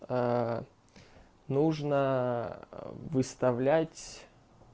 нужно выставлять